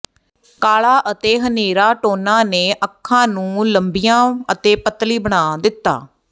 ਕਾਲਾ ਅਤੇ ਹਨੇਰਾ ਟੋਨਾਂ ਨੇ ਅੱਖਾਂ ਨੂੰ ਲੰਬੀਆਂ ਅਤੇ ਪਤਲੀ ਬਣਾ ਦਿੱਤਾ